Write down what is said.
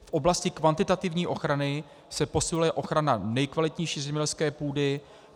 V oblasti kvantitativní ochrany se posiluje ochrana nejkvalitnější zemědělské půdy.